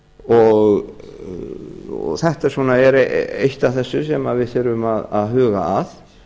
og þetta er eitt af þessu sem við þurfum að huga að